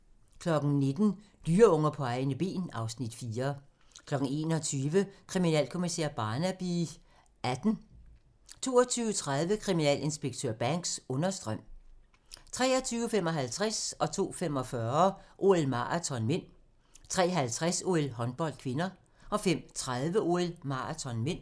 19:00: Dyreunger på egne ben (Afs. 4) 21:00: Kriminalkommissær Barnaby XVIII 22:30: Kriminalinspektør Banks: Understrøm 23:55: OL: Maraton (m) 02:45: OL: Maraton (m) 03:50: OL: Håndbold (k) 05:30: OL: Maraton (m)